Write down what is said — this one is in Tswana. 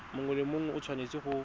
mongwe le mongwe o tshwanetse